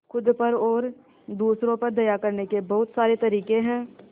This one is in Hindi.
खुद पर और दूसरों पर दया करने के बहुत सारे तरीके हैं